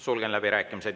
Sulgen läbirääkimised.